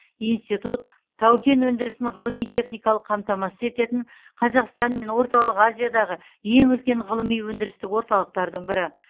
институт тау кен өндірісін ғылыми техникалық қамтамасыз ететін қазақстан мен орталық азиядағы ең үлкен ғылыми өндірістік орталықтардың бірі